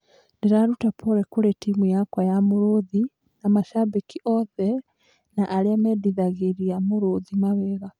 Ndĩraruta pore kũrĩ timu yakwa ya Mũrũthi na macambĩki othe na arĩa mendithagĩria Muruthi mawega .